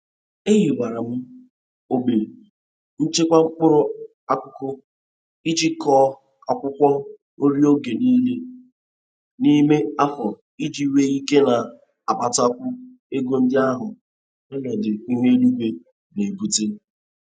Ehiwara m ogbe nchekwa mkpụrụ akụkụ iji kọọ akwụkwọ nri oge nile n'ime afọ iji nwee ike na-akpatakwu ego ndị ahụ onọdụ ihu eluigwe na-ebute.